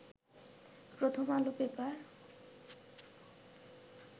প্রথম আলো পেপার